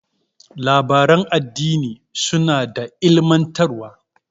Labaran addini suna da ilmantarwa.